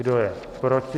Kdo je proti?